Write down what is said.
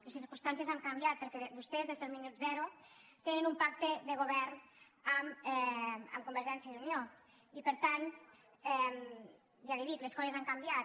les circumstàncies han canviat perquè vostès des del minut zero tenen un pacte de govern amb convergència i unió i per tant ja li ho dic les coses han canviat